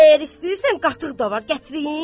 Əgər istəyirsən qatıq da var, gətirim?"